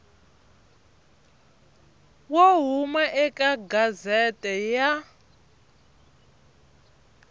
wo huma eka gazette ya